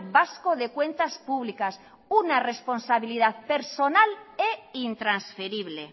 vasco de cuentas públicas una responsabilidad personal e intransferible